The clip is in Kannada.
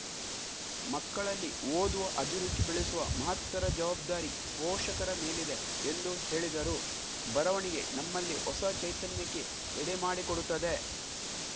ಮಕ್ಕಳಲ್ಲಿ ಓದುವ ಅಭಿರುಚಿ ಬೆಳೆಸುವ ಮಹತ್ತರ ಜವಾಬ್ದಾರಿ ಪೋಷಕರ ಮೇಲಿದೆ ಎಂದು ಹೇಳಿದರು ಬರವಣಿಗೆ ನಮ್ಮಲ್ಲಿ ಹೊಸ ಚೈತನ್ಯಕ್ಕೆ ಎಡೆಮಾಡಿಕೊಡುತ್ತದೆ